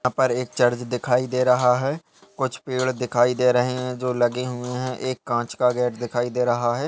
यहाँ पर एक चर्च दिखाई दे रहा है। कुछ पेड़ दिखाई दे रहे हैं जो लगे हुए हैं। एक कांच का गेट दिखायी दे रहा है।